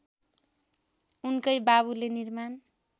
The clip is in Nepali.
उनकै बाबुले निर्माण